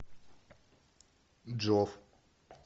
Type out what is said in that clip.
джов